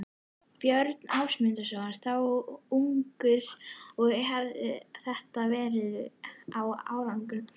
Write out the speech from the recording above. Björn Ásmundsson, þá unglingur og hefir þetta verið á áratugnum